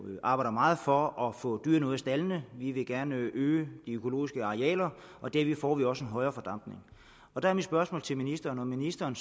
arbejder meget for at få dyrene ud af staldene vi vil gerne øge de økologiske arealer og derved får vi også en højere fordampning der er mit spørgsmål til ministeren om ministeren